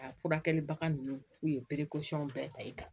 A furakɛlibaga ninnu u ye berekosɔn bɛɛ ta i kan